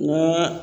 N ka